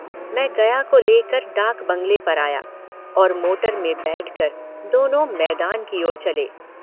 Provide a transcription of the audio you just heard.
मैं गया को लेकर डाक बंगले पर आया और मोटर में बैठकर दोनों मैदान की ओर चले।